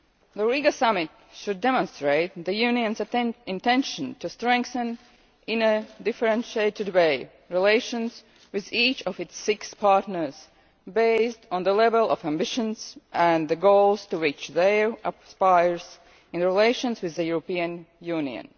The Riga Summit should demonstrate the Union's intention to strengthen, in a differentiated way, relations with each of its six partners based on the level of ambition and the goals to which they aspire in their relations with the European Union.